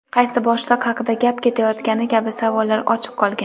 qaysi boshliq haqida gap ketayotgani kabi savollar ochiq qolgan.